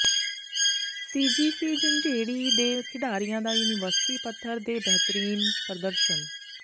ਸੀ G C Jhanjeri ਦੇ ਖਿਡਾਰੀਆਂ ਦਾ ਯੂਨੀਵਰਸਿਟੀ ਪੱਧਰ ਤੇ ਬਿਹਤਰੀਨ ਪ੍ਰਦਰਸ਼ਨ